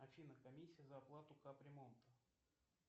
афина комиссия за оплату капремонта